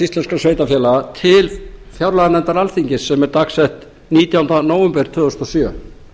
íslenskra sveitarfélaga til fjárlaganefndar alþingis sem er dagsett nítjánda nóvember tvö þúsund og sjö